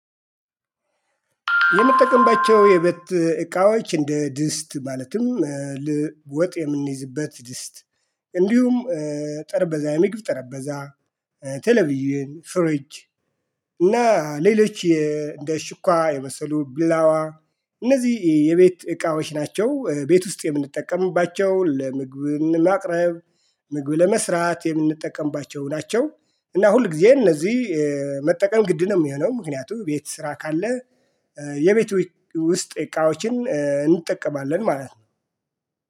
የምጠቀምባቸው የቤት እቃዎች እንደ ድስት ማለትም ወጥ የምንይዝበት ድስት እንዲሁም ጠረጴዛ የሚግብ ጠረጴዛ ተለብዬ ፍሪጅ እና ሌሎች እንደ ሹኳ የመሰሉ ቢላዋ እነዚህ የቤት እቃዎች ናቸው። ቤት ውስጥ የምንጠቀምባቸው ለምግብ ማቅረብ ምግብ ለመስራት የምንጠቀምባቸው ናቸው። እና ሁልጊዜ እነዚህ መጠቀም ግድ ነው የሚሆነው ምክንያቱም ቤት ስራ ካለ የቤት ውስጥ እቃዎችን እንጠቀማለን ማለት ነው